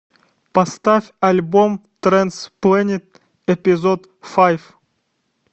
поставь альбом трэнс плэнет эпизод файв